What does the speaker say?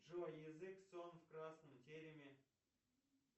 джой язык сон в красном тереме